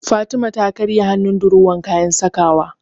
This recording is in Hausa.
Fatima ta karya hannun durowar kayan sakawa.